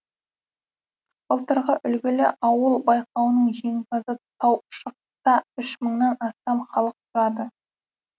былтырғы үлгілі ауыл байқауының жеңімпазы таушықта үш мыңнан астам халық тұрады